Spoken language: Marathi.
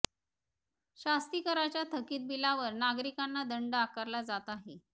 शास्तीकराच्या थकित बिलावर नागरिकांना दंड आकारला जात आहे